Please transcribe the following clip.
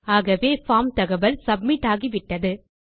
ஆகவே பார்ம் தகவல் சப்மிட் ஆகிவிட்டது